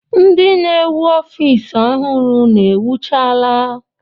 Ndị na-ewu ofiisi ọhụrụ unu ewuchaala?